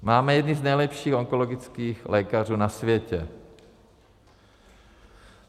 Máme jedny z nejlepších onkologických lékařů na světě.